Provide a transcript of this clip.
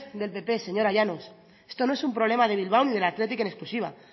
del pp señora llanos esto no es un problema de bilbao ni del athletic en exclusiva